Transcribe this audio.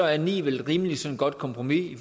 er ni vel et rimeligt godt kompromis i